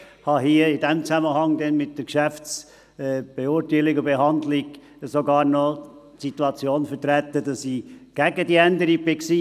Ich war im Zusammenhang mit der Geschäftsbeurteilung und Geschäftsbehandlung sogar noch gegen diese Änderung.